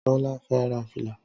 Tọ́lá fẹ́ ra fìlà